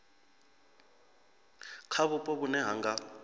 kha vhupo vhune ha nga